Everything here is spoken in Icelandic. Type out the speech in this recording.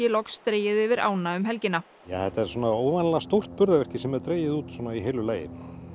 loks dregið yfir ána um helgina þetta er óvanalega stórt burðarvirki sem er dregið út í heilu lagi